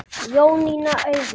Jónína Auður.